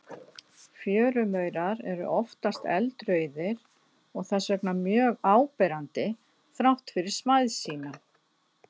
Fjörumaurar eru oftast eldrauðir og þess vegna mjög áberandi þrátt fyrir smæð sína.